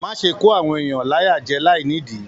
Má ṣe kọ àwọn èèyàn láyà jẹ láì nìdí.